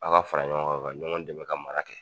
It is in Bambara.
An ka fara ɲɔgɔn ka, ka ɲɔgɔn dɛmɛ ka mara kɛ.